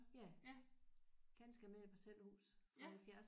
Ja. Ganske almindeligt parcelhus fra halvfjerdserne